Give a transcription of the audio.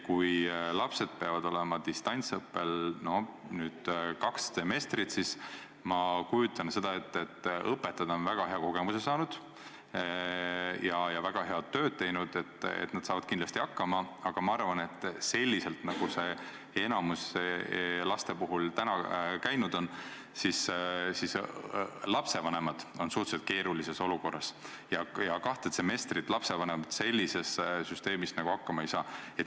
Kui lapsed peavad distantsõppel olema kaks semestrit, siis ma kujutan ette, et õpetajad on väga hea kogemuse saanud, väga head tööd teinud ja nad saavad kindlasti hakkama, aga ma arvan, et selliselt, nagu see enamiku laste puhul seni on käinud, on lapsevanemad suhteliselt keerulises olukorras ja kahte semestrit nad sellises süsteemis hakkama ei saa.